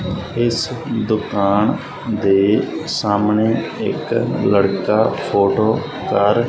ਇੱਸ ਦੁਕਾਨ ਦੇ ਸਾਹਮਣੇ ਇੱਕ ਲੜਕਾ ਫੋਟੋ ਕਰ --